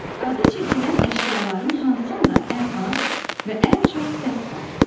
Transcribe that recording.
Adı çəkilən əşyaların hansında ən az və ən çox səs var?